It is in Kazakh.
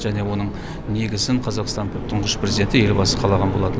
және оның негізін қазақстанның тұңғыш президенті елбасы қалаған болатын